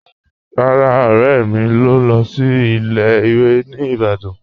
Rárá, ọ̀rẹ̀ mì ń lọ́ sí ilẹ̀-ìwé̀ ní Ìbàdàn.